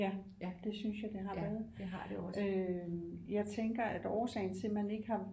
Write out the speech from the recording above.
Ja det synes jeg det har været øh jeg tænker at årsagen til at man ikke har